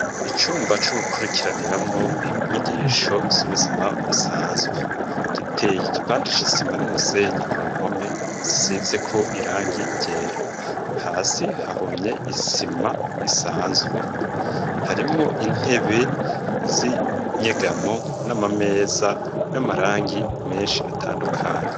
Icumba co gukurikiraniramwo inyigisho z'ubuzima busanzwe giteye igipandi c'isima n'umusenyi ku mpome zisize ko irangi ryera hasi hahumye isima isanzwe harimwo intebe z'inyegamo n'amameza y'amarangi menshi atandukanye.